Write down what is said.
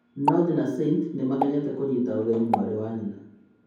North na Saint nĩmakenete nĩkũnyita ũgeni mwarĩ wa nyina'